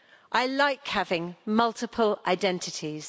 I like having multiple identities.